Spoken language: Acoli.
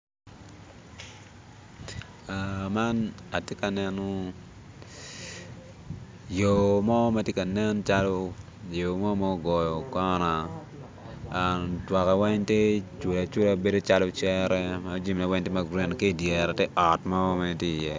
Man atye ka neno yo mo ma tye ka nen calo yo mo mu goyo kona twakke weng tye cula cula bedo calo cere ma jamine weng tye ma gurin ki i dyere tye ot mo mere tye iye.